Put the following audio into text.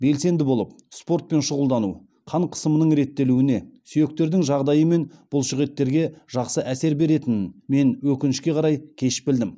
белсенді болып спортпен шұғылдану қан қысымының реттелуіне сүйектердің жағдайы мен бұлшықеттерге жақсы әсер беретінін мен өкінішке қарай кеш білдім